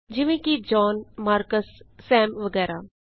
ਜਿਵੇਂ ਕਿ zone marks sum ਵਗੈਰਹ